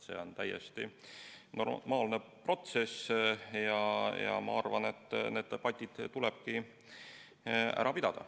See on täiesti normaalne protsess ja ma arvan, et need debatid tulebki ära pidada.